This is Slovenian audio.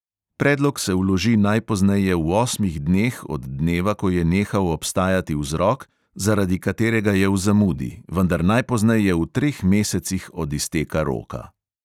Predlog se vloži najpozneje v osmih dneh od dneva, ko je nehal obstajati vzrok, zaradi katerega je v zamudi, vendar najpozneje v treh mesecih od izteka roka.